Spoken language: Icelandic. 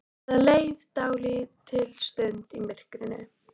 Það leið dálítil stund í myrkrinu.